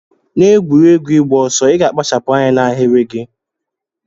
Na egwuregwu igba ọsọ iga akpachapu anya na ahiri gi.